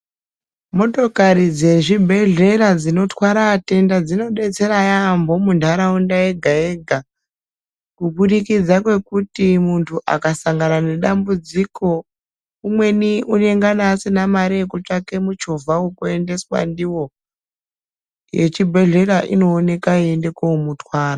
Motokari dzezvibhehlera dzinotwara atenda dzinobatsira yambo muntharaunda yega yega kuburikidza kwekuti munthu akasangana nedambudziko, umweni unenge asina mari yekutsvaka muchovha wekuendeswa ndiwo, yechibhehlera inoonekwa yeienda komutwara.